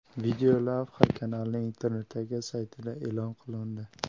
Videolavha kanalning internetdagi saytida e’lon qilindi .